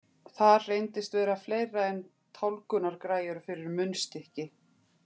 Þar reyndist vera fleira en tálgunargræjur fyrir munnstykki.